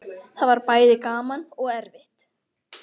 Það var bæði gaman og erfitt.